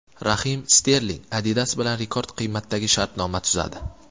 Rahim Sterling Adidas bilan rekord qiymatdagi shartnoma tuzadi.